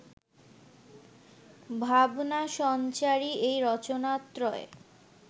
ভাবনাসঞ্চারী এই রচনাত্রয়